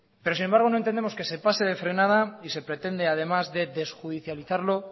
sin embargo no entendemos que se pase de frenada y se pretende además de desjudicializarlo